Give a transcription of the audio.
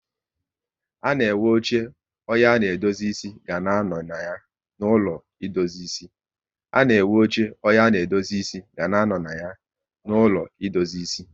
A na enwe oche onye a ga-edozi ịsị ga anọ na ya n'ụlọ edozi ịsị